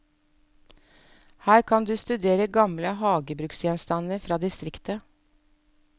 Her kan du studere gamle hagebruksgjenstander fra distriktet.